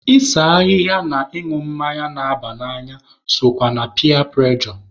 Ịse ahịhịa na ịñụ mmanya na-aba n'anya sokwa na piya prụrejọ.